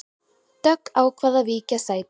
Dögg ákvað að víkja sæti